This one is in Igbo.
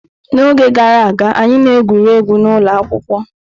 N'oge gara aga, anyị na-egwuri egwu n'ụlọ akwụkwọ.